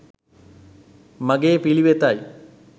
මගෙ පිලිවෙතයි